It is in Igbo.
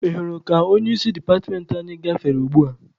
Ị hụrụ ka onye isi departmentị anyị gafere ugbua?